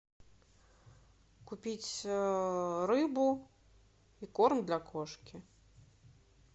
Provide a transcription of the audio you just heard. купить рыбу и корм для кошки